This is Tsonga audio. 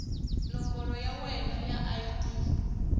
nomboro ya wena ya id